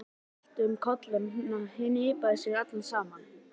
Náunginn valt um koll og hnipraði sig saman.